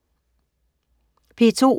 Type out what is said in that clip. P2: